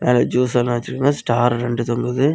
அல ஜூசல்லா வச்சிருக்காங்க ஸ்டார் ரெண்டு தொங்குது.